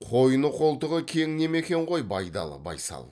қойны қолтығы кең неме екен ғой байдалы байсал